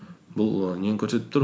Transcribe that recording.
бұл і нені көрсетіп тұр